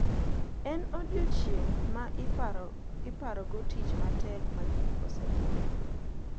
En odiechieng` ma iparogo tich matek ma ji osetimo.